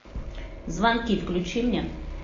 звонки включи мне